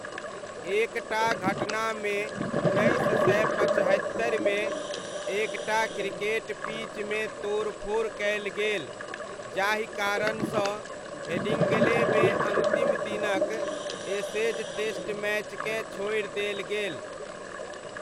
एक टा घटनामे उन्नैस सय पचहत्तरिमे, एक टा क्रिकेट पिचमे तोड़फोड़ कयल गेल जाहि कारणसँ हेडिङ्ग्लेमे अन्तिम दिनक एशेज टेस्ट मैचकेँ छोड़ि देल गेल।